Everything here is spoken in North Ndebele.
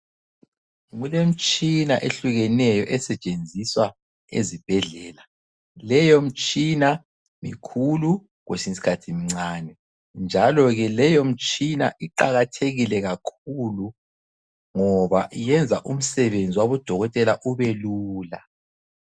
Kulemitshina ehlukeneyo esetshenziswa ezibhedlela. Leyomtshina mikhulu kwesinyisikhathi imincane. Njalo ke leyomtshina iqakathekile kakhulu ngoba yenza umsebenzi wabodokotela ubelula.